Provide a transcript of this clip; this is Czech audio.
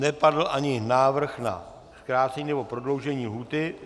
Nepadl ani návrh na zkrácení nebo prodloužení lhůty?